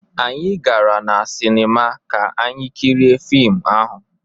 Anyị gara na sinima ka anyị kirie fiim ahụ.